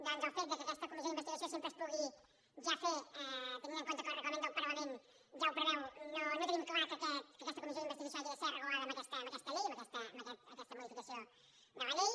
doncs el fet que aquesta comissió d’investigació sempre es pugui ja fer tenint en compte que el reglament del parlament ja ho preveu fa que no tinguem clar que aquesta comissió d’investigació hagi de ser regulada en aquesta llei en aquesta modificació de la llei